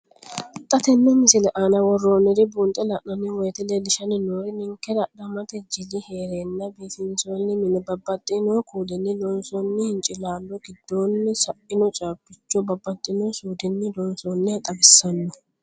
Xa tenne missile aana worroonniri buunxe la'nanni woyiite leellishshanni noori ninkera adhamate jili heereenna biifinsoonni mine babbaxxino kuulinni loonsoonni hincilaallo giddoonni sainno caabbicho babbaxxino suudinni loonsoonniha xawissanno.